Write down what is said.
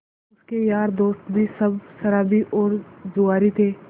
उसके यार दोस्त भी सब शराबी और जुआरी थे